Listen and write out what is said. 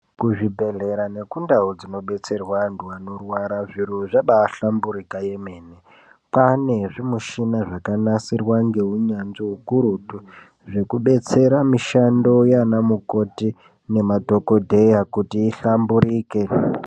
Kuzvibhedhlera neku ndau dzinodetserwa antu anorwara zviro zvabai hlamburika yemene. Kwane zvimishina zvaka nasirwa ngeunyanzvi ukurutu zveku betsera mishando yana mukoti nemadhokodheya kuti ihlamburike.